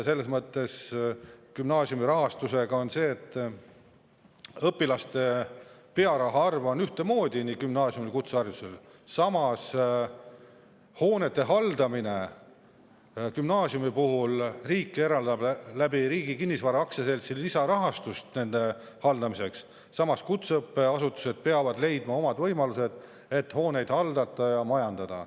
Gümnaasiumi rahastusega on nii, et õpilaste pearaha on ühtemoodi nii gümnaasiumil kui ka kutse, samas hoonete haldamiseks eraldab riik gümnaasiumidele Riigi Kinnisvara AS‑i kaudu lisarahastust, aga kutseõppeasutused peavad leidma oma võimalused, et hooneid hallata ja majandada.